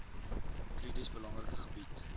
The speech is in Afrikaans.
krities belangrike gebied